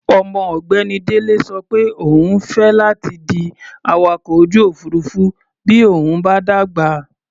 Ọmọ ọ̀gbẹ́ni Délé sọ pé òun fẹ́ láti di awakọ̀-ojú-òfuurufú bí òun bá dàgbà.